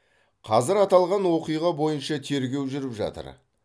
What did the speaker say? қазір аталған оқиға бойынша тергеу жүріп жатыр